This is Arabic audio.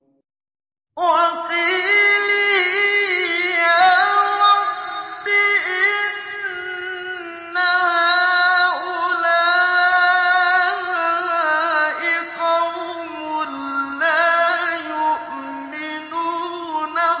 وَقِيلِهِ يَا رَبِّ إِنَّ هَٰؤُلَاءِ قَوْمٌ لَّا يُؤْمِنُونَ